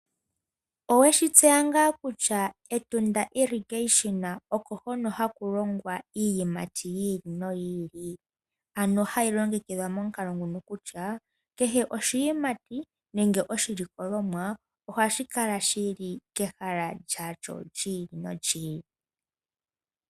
Oweshi tseya ngaa kutya Etunda irrigation oko hono haku longwa iiyimati yi ili noyi ili, ano hayi longekidhwa momukalo nguno kutya kehe oshiyimati nenge oshilikolomwa ohashi kala shi li kehala lyasho lyi ili nolyi ili.